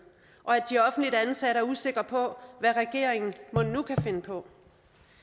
og at de offentligt ansatte er usikre på hvad regeringen mon nu kan finde på